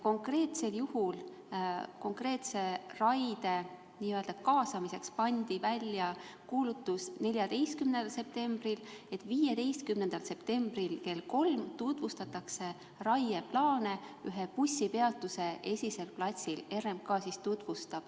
Konkreetse raie puhul pandi 14. septembril n-ö kaasamiseks välja kuulutus, et 15. septembril kell 3 tutvustab RMK ühe bussipeatuse esisel platsil raieplaane.